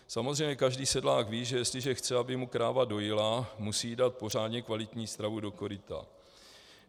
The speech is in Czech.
Samozřejmě každý sedlák ví, že jestliže chce, aby mu kráva dojila, musí jí dát pořádně kvalitní stravu do koryta.